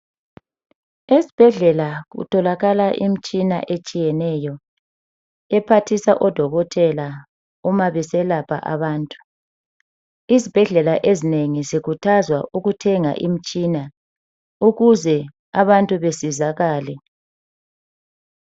Ezibhedlela kutholakala imitshina etshiyeneyo ephathisa odokotela uma beselapha abantu. Izibhedlela ezinengi zikhuthazwa ukuthenga imitshina ukuze abantu besizakale.